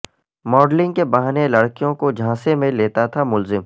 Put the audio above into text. modelling کے بہانے لڑکیوں کو جھانسے میں لیتا تھا ملزم